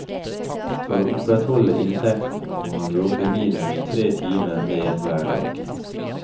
For å opprettholde inntekten må han jobbe minimum tre timer mer hver dag.